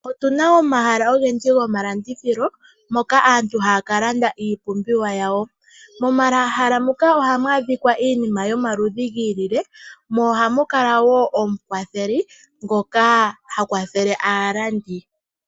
Otuna omahala ogendji gomalandithilo moka aantu haya ka landa iipumbiwa yawo. Momahala muka ohamu adhika iinima yomaludhi gi ilile mo ohamu kala wo omukwatheli ngoka ha kwathele aalandi.